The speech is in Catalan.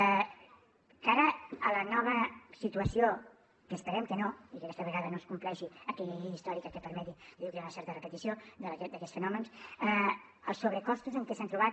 de cara a la nova situació que esperem que no i que aquesta vegada no es compleixi aquell històric que permeti dir que hi ha una certa repetició d’aquests fenòmens els sobrecostos amb què s’han trobat